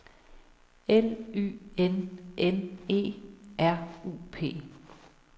L Y N N E R U P